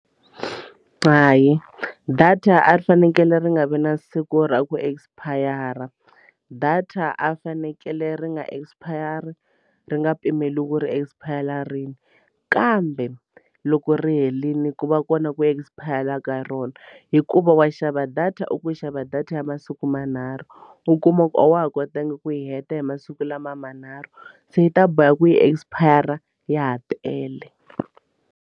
Hayi data a ri fanekele ri nga vi na siku ra ku expire data a fanekele ri nga expire-ri ri nga pimeriwi ku ri expire marine kambe loko ri herile ku va kona ku expire ka rona hikuva wa xava data u ku xava data ya masiku manharhu u kuma ku a wa ha kotanga ku yi heta hi masiku lama manharhu se yi ta boha ku yi expire ya ha tele.